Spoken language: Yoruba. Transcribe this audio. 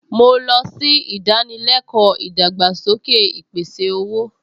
Mo lọ sí ìdánilẹ́kọ̀ọ́ ìdàgbàsókè ìpèsè-owó